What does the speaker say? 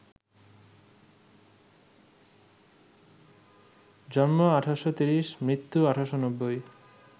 জন্ম ১৮৩০, মৃত্যু ১৮৯০